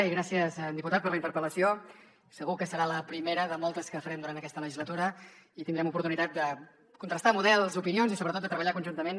i gràcies diputat per la interpel·lació segur que serà la primera de moltes que farem durant aquesta legislatura i tindrem oportunitat de contrastar models opinions i sobretot de treballar conjuntament